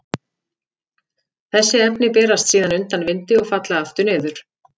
Þessi efni berast síðan undan vindi og falla aftur niður.